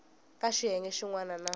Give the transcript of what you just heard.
ka xiyenge xin wana na